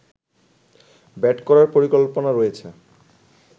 bat করার পরিকল্পনা রয়েছে